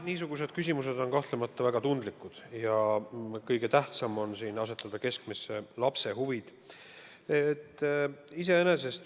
Niisugused küsimused on kahtlemata väga tundlikud ja kõige tähtsam on siin asetada keskmesse lapse huvid.